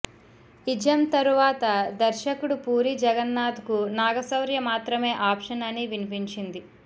ism తరువాత దర్శకుడు పూరి జగన్నాధ్ కు నాగశౌర్య మాత్రమే ఆప్షన్ అని వినిపించింది